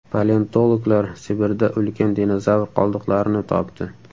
Paleontologlar Sibirda ulkan dinozavr qoldiqlarini topdi.